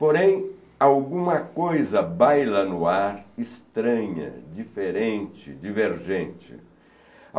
Porém, alguma coisa baila no ar, estranha, diferente, divergente.